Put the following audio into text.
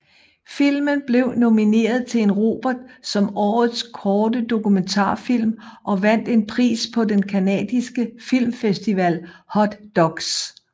Filmen blev nomineret til en Robert som Årets Korte Dokumentarfilm og vandt en pris på den canadiske filmfestival Hot Docs